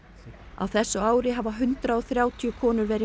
á þessu ári hafa hundrað og þrjátíu konur verið